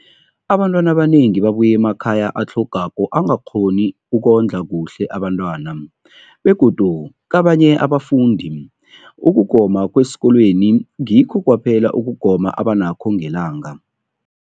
Abantwana abanengi babuya emakhaya atlhagako angakghoni ukondla kuhle abentwana, begodu kabanye abafundi, ukugoma kwesikolweni ngikho kwaphela ukugoma abanakho ngelanga.